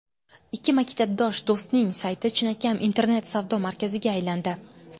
Ikki maktabdosh do‘stning sayti chinakam internet-savdo markaziga aylandi.